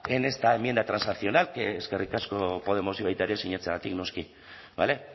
en esta enmienda transaccional que eskerrik asko podemosi baita ere sinatzeagatik noski bale